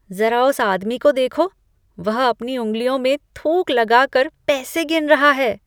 ज़रा उस आदमी को देखो। वह अपनी उँगलियों में थूक लगा कर पैसे गिन रहा है।